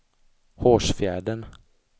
Hårsfjärden